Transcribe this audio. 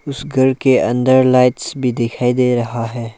उस घर के अंदर लाइट्स भी दिखाई दे रहा है।